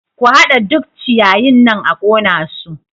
Ku haɗa duk ciyayin nan a ƙona su!